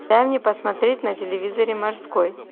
дай мне посмотреть на телевизоре морской